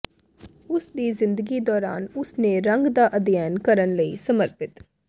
ਉਸ ਦੀ ਜ਼ਿੰਦਗੀ ਦੌਰਾਨ ਉਸ ਨੇ ਰੰਗ ਦਾ ਅਧਿਐਨ ਕਰਨ ਲਈ ਸਮਰਪਿਤ